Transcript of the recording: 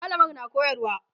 mallamar na koyarwa